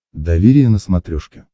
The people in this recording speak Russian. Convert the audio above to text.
доверие на смотрешке